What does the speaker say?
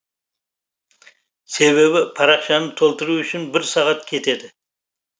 себебі парақшаны толтыру үшін бір сағат кетеді